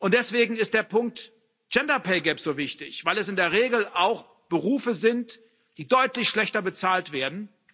Deswegen ist der Punkt Gender Pay Gap so wichtig, weil es in der Regel auch Berufe sind, die deutlich schlechter bezahlt werden.